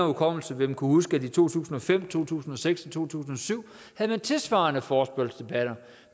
hukommelse vil kunne huske at i to tusind og fem to tusind og seks og to tusind og syv havde vi tilsvarende forespørgselsdebatter